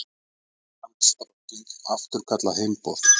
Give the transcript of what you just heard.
Englandsdrottning afturkallar heimboð